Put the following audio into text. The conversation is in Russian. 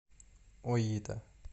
оита